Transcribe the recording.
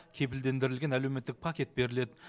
кепілдендірілген әлеуметтік пакет беріледі